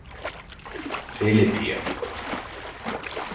Filippía